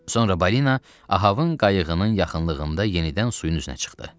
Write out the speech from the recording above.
Sonra balina Ahabın qayıqının yaxınlığında yenidən suyun üzünə çıxdı.